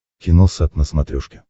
киносат на смотрешке